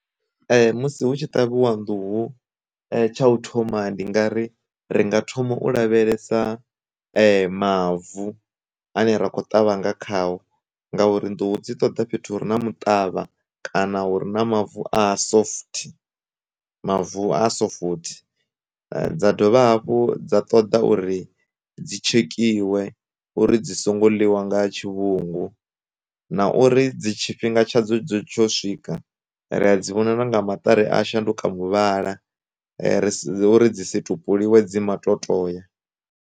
Musi hu tshi ṱavhiwa nḓuhu, tsha u thoma ndi nga ri ri nga thoma u lavhelesa mavu ane ra kho ṱavhanya khayo, ngauri ndi hu dzi ṱoḓa fhethu hure na muṱavha kana uri na mavu a soft mavu a sofuthi, dza dovha hafhu dza ṱoḓa uri dzi tshekhiwa uri dzi songo ḽiwa nga tshi vhungu, na uri dzi tshifhinga tsha dzo tsho swika ri a dzi vhona na nga maṱari a shanduka muvhala ri uri dzi situ tupuliwe dzi maṱo toya.